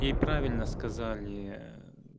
и правильно сказали